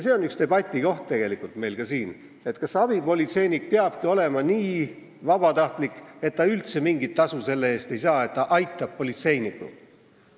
See on üks debatikohti ka meil siin, kas abipolitseinik peabki olema nii vabatahtlik, et ta üldse mingit tasu ei saa selle eest, et ta politseinikku aitab.